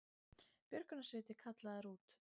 Björgunarsveitir kallaðar út